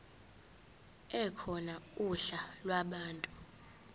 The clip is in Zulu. ekhona uhla lwabantu